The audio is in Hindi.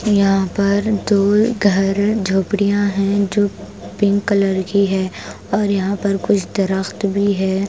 यहां पर दो घर झोपड़ियां हैं जो पिंक कलर की है और यहां पर कुछ दरख्त भी है ।